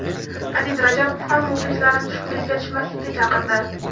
Adiz Rajabov ham muxlislarini tushkunlikka tushmaslikka chaqirdi.